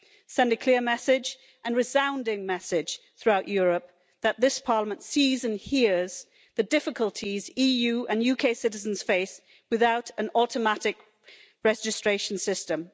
Send a clear message, a resounding message, throughout Europe that this Parliament sees and hears the difficulties EU and UK citizens face without an automatic registration system.